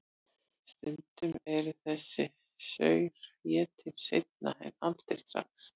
Stundum er þessi saur étinn seinna en aldrei strax.